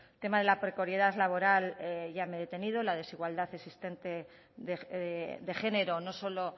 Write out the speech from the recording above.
tema de la precariedad laboral ya me he detenido la desigualdad existente de género no solo